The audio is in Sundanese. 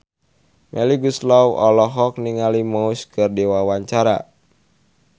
Melly Goeslaw olohok ningali Muse keur diwawancara